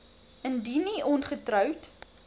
indien u ongetroud